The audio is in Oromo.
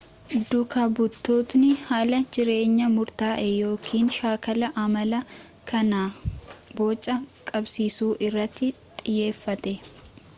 duuka butootni haala jireenya murtaa'e yookiin shaakala amala kana bocaa qabsiisu irratti xiyyeeffate